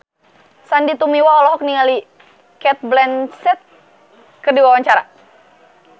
Sandy Tumiwa olohok ningali Cate Blanchett keur diwawancara